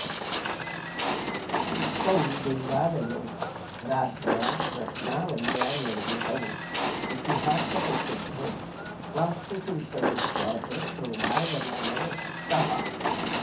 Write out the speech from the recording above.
एतौ देवालयौ राज्ञ्या रत्नावल्या निर्मितौ इतिहासप्रसिद्धौ वास्तुशिल्पदृष्ट्या च शोभायमानौ स्तः